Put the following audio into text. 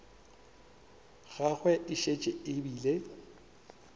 gagwe e šetše e bile